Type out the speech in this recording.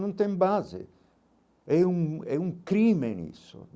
Não tem base, é um é um crime nisso.